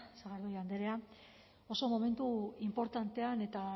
sagardui andrea oso momentu inportantean eta